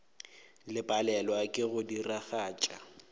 le palelwa ke go diragatša